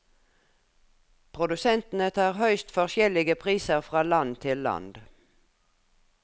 Produsentene tar høyst forskjellige priser fra land til land.